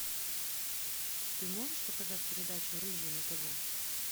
ты можешь показать передачу рыжий на тв